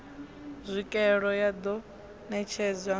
tswikeelo ya ḓo netshedzwa ngayo